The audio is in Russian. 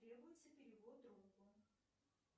требуется перевод другу